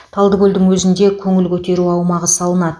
талдыкөлдің өзінде көңіл көтеру аумағы салынады